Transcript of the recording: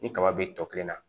Ni kaba be tɔ kelen na